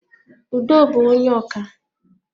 Udo bú onye ọkà